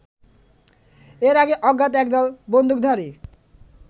এর আগে অজ্ঞাত একদল বন্দুকধারী